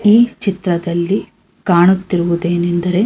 ಈ ಚಿತ್ರದಲ್ಲಿ ಕಾಣುತಿರುವುದೆನೆಂದರೆ--